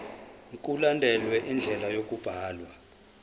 mkulandelwe indlela yokubhalwa